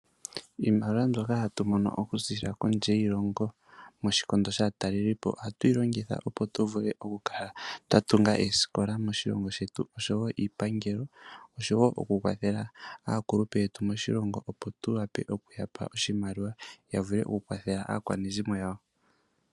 Iimaliwa mbyoka hatu mono okuziilila kondje yiilongo moshikondo shaatalelipo oha tuyi longitha opo tuvule okukala twatunga oosikola moshilongo shetu, oshowo iipangelo, oshowo oku kwathela aakulupe yetu moshilongo opo tuwape okuyapa oshimaliwa yavule oku kwathela aakwanezimo yawo.